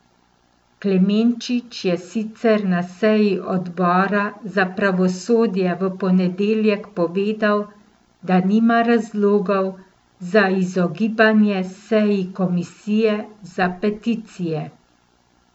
Klemenčič je sicer na seji odbora za pravosodje v ponedeljek povedal, da nima razlogov za izogibanje seji komisije za peticije.